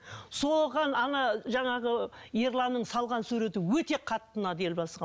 соған ана жаңағы ерланның салған суреті өте қатты ұнады елбасыға